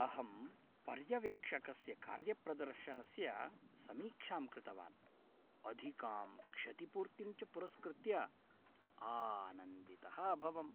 अहं पर्यवेक्षकस्य कार्यप्रदर्शनस्य समीक्षां कृतवान्, अधिकां क्षतिपूर्तिं च पुरस्कृत्य आनन्दितः अभवम्।